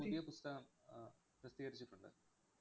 പുതിയ പുസ്തകം അഹ് പ്രസിദ്ധീകരിച്ചിട്ടുണ്ട്.